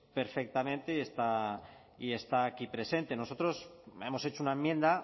perfectamente y está aquí presente nosotros hemos hecho una enmienda